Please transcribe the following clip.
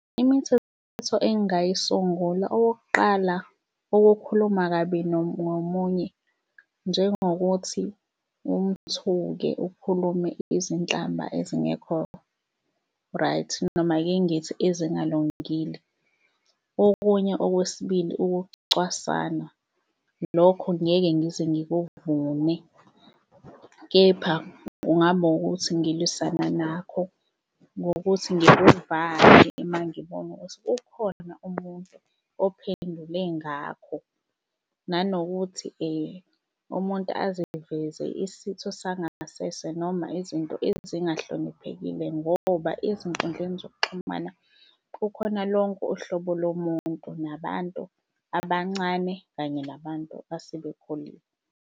Imithetho engayisungula okokuqala ukukhuluma kabi ngomunye, njengokuthi umthuke ukhulume izinhlamba ezingekho-right noma ake ngithi ezingalungile. Okunye okwesibili ukucwasana, lokho ngeke ngize ngikuvume, kepha kungaba wukuthi ngilwisana nakho ngokuthi ngikuvale uma ngibona ukuthi kukhona umuntu ophendule ngakho. Nanokuthi umuntu aziveze isitho sangasese noma izinto ezingahloniphekile ngoba ezinkundleni zokuxhumana kukhona lonke uhlobo lomuntu, nabantu abancane, kanye nabantu asebekhulile.